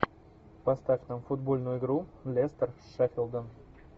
поставь нам футбольную игру лестер с шеффилдом